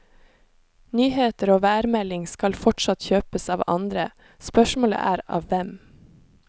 Nyheter og værmelding skal fortsatt kjøpes av andre, spørsmålet er av hvem.